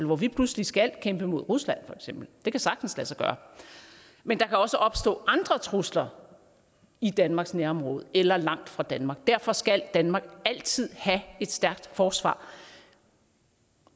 hvor vi pludselig skal kæmpe mod rusland det kan sagtens lade sig gøre men der kan også opstå andre trusler i danmarks nærområde eller langt fra danmark derfor skal danmark altid have et stærkt forsvar